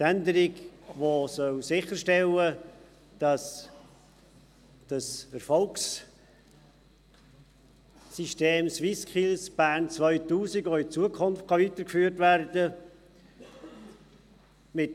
Die Änderung, die sicherstellen soll, dass die erfolgreichen SwissSkills auch künftig weitergeführt werden können.